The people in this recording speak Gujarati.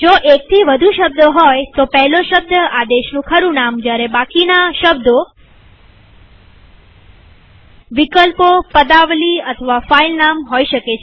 જો એકથી વધુ શબ્દો હોય તો પહેલો શબ્દ આદેશનું ખરું નામ જયારે બાકીના શબ્દો વિકલ્પોપદાવલી અથવા ફાઈલ નામ હોઈ શકે